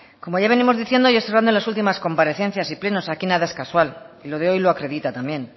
como ya venimos diciendo de las últimas comparecencias y plenos aquí nada es casual y lo de hoy lo acredita también